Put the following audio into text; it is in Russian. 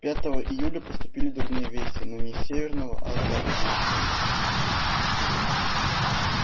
пятого июля поступили дурные вести но не с северного а с западного фронта